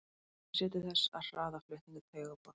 Það sér til þess að hraða flutningi taugaboða.